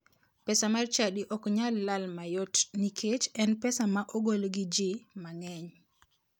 Pesa mar chadi ok nyal lal mayot nikech en pesa ma ogol gi ji mang'eny.